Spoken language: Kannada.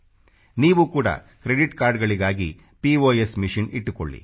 ನೀವು ಕೂಡ ಕ್ರೆಡಿಟ್ ಕಾರ್ಡಗಳಿಗಾಗಿ ಪಿಒಎಸ್ ಮಶಿನ್ ಇಟ್ಟುಕೊಳ್ಳಿ